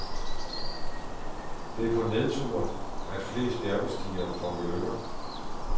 Det er på nedture, at flest bjergbestigere forulykker.